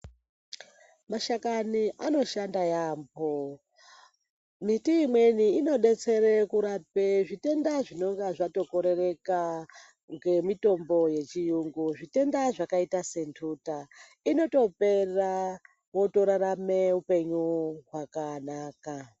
Mashakani anoshanda yambo miti imweni inodetsera kurapa zvitenda zvinenge zvatokorereka ngemitombo yechiyungu. Zvitenda zvakaita senduta inopera wotorarama hupenyu hwakanaka.